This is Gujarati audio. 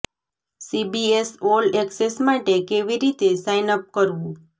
સીબીએસ ઓલ એક્સેસ માટે કેવી રીતે સાઇન અપ કરવું